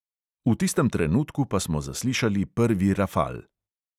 V tistem trenutku pa smo zaslišali prvi rafal.